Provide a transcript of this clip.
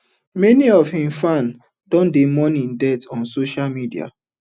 many of im fans don dey mourn im death on social media